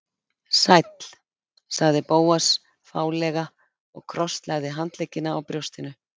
Sæll- sagði Bóas fálega og krosslagði handleggina á brjóstinu.